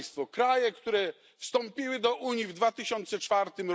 Kraje, które wstąpiły do Unii w 2004